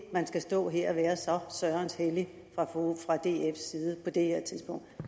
man skal stå her og være så sørens hellig fra dfs side på det her tidspunkt